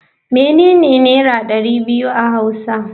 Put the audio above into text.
Menene naira dari biyu a hausa.